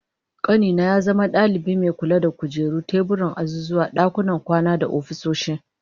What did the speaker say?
Kani na ya zama dalibi mai kula da kujeru da teburan azuzuwa, dakunan kwana da ofisoshi